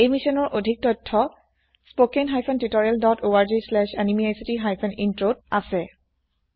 এই মিছ্যনৰ অধিক তথ্য spoken hyphen tutorial dot org slash এনএমইআইচিত হাইফেন Introত আছে